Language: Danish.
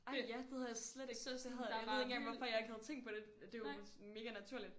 Ej ja det havde jeg slet ikke det havde jeg ved ikke hvorfor jeg slet ikke havde tænkt over det det er jo mega naturligt